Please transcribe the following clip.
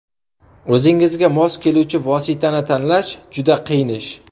O‘zingizga mos keluvchi vositani tanlash juda qiyin ish.